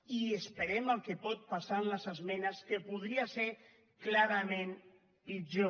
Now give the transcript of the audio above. i esperem el que pot passar en les esmenes que podria ser clarament pitjor